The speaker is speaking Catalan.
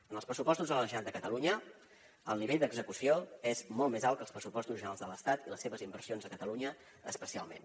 en els pressupostos de la generalitat de catalunya el nivell d’execució és molt més alt que als pressupostos generals de l’estat i les seves inversions a catalunya especialment